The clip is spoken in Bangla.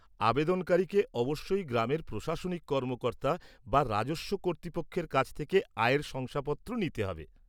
আবেদনকারীকে অবশ্যই গ্রামের প্রশাসনিক কর্মকর্তা বা রাজস্ব কর্তৃপক্ষের কাছ থেকে আয়ের শংসাপত্র নিতে হবে।